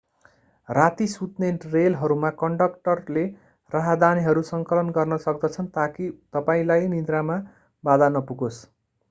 राती सुत्ने रेलहरूमा कन्डक्टरले राहदानीहरू संकलन गर्न सक्दछन् ताकि तपाईंलाई निन्द्रामा बाधा नपुगोस्